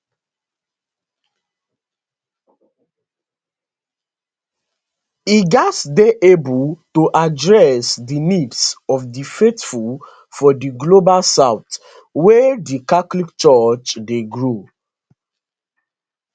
e gatz dey able to address di needs of di faithful for di global south wia di catholic church dey grow